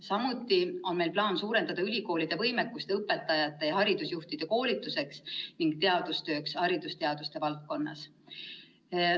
Samuti on meil plaan suurendada ülikoolide võimekust õpetajate ja haridusjuhtide koolituseks ning teadustööks haridusteaduste valdkonnas.